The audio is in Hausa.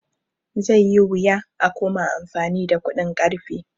Zai yi wuya a koma amfani da kuɗin ƙarfe